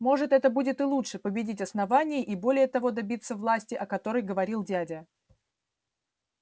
может это будет и лучше победить основание и более того добиться власти о которой говорил дядя